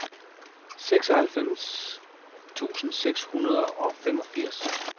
seksoghalvfems tusind seks hundrede og femogfirs